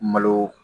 Malo